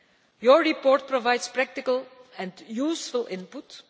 Your report provides practical and useful input.